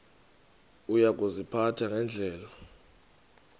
uya kuziphatha ngendlela